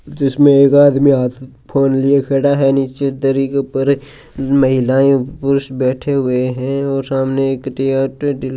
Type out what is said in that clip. जिसमें एक आदमी हाथ फोन लिए खड़ा है नीचे दरी महिलाएं बैठी हुईं हैं और सामने एक ते --